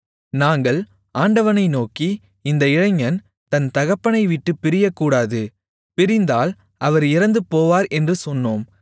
நாங்கள் ஆண்டவனை நோக்கி அந்த இளைஞன் தன் தகப்பனைவிட்டுப் பிரியக்கூடாது பிரிந்தால் அவர் இறந்துபோவார் என்று சொன்னோம்